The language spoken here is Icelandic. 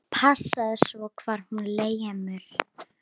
Passaðu svo hvar þú lemur.